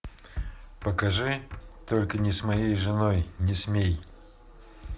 покажи только не с моей женой не смей